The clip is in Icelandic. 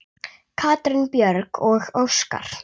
Katrín Björg og Óskar.